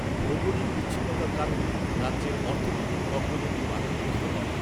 ভৌগলিক বিচ্ছিন্নতার কারণে রাজ্যের অর্থনৈতিক অগ্রগতি বাধাগ্রস্ত হয়।